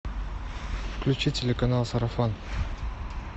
включи телеканал сарафан